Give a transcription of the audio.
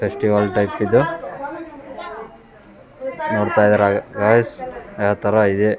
Festival type ಇದು ನೋಡ್ತಾ ಇದೀರ ಗೈಸ್ ಯಾವ್ ತರ ಇದೆ.